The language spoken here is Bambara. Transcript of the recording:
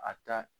A ka